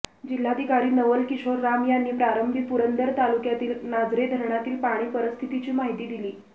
जिल्हाधिकारी नवल किशोर राम यांनी प्रारंभी पुरंदर तालुक्यातील नाझरे धरणातील पाणी परिस्थितीची माहिती दिली